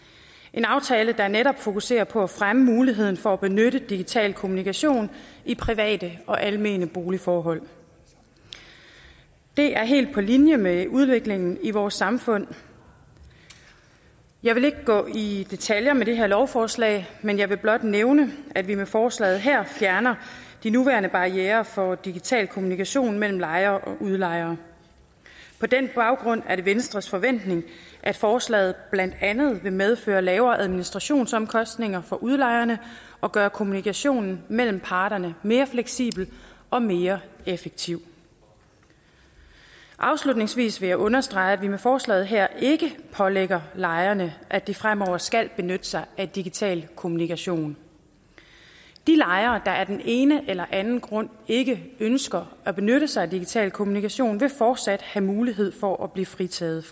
en aftale der netop fokuserer på at fremme muligheden for at benytte digital kommunikation i private og almene boligforhold det er helt på linje med udviklingen i vores samfund jeg vil ikke gå i detaljer med det her lovforslag men jeg vil blot nævne at vi med forslaget her fjerner de nuværende barrierer for digital kommunikation mellem lejer og udlejer på den baggrund er det venstres forventning at forslaget blandt andet vil medføre lavere administrationsomkostninger for udlejerne og gøre kommunikationen mellem parterne mere fleksibel og mere effektiv afslutningsvis vil jeg understrege at vi med forslaget her ikke pålægger lejerne at de fremover skal benytte sig af digital kommunikation de lejere der af den ene eller anden grund ikke ønsker at benytte sig af digital kommunikation vil fortsat have mulighed for at blive fritaget